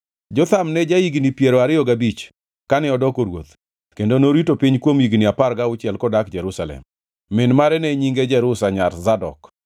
Jotham ne ja-higni piero ariyo gabich kane odoko ruoth kendo norito piny kuom higni apar gauchiel kodak Jerusalem. Min mare ne nyinge Jerusha nyar Zadok.